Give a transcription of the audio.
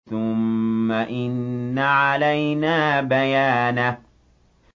ثُمَّ إِنَّ عَلَيْنَا بَيَانَهُ